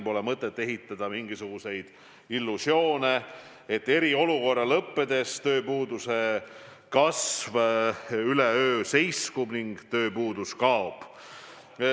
Pole mõtet luua mingisuguseid illusioone, et eriolukorra lõppedes tööpuuduse kasv üleöö seiskub ning tööpuudus kaob.